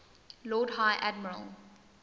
lord high admiral